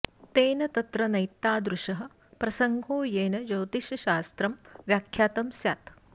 तेन तत्र नैतादृशः प्रसङ्गो येन ज्योतिषशास्त्रं व्याख्यातं स्यात्